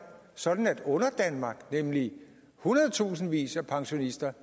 sådan at underdanmark nemlig hundredetusindvis af pensionister